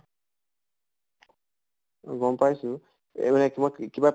অ গম পাইছো এহ মানে কিবা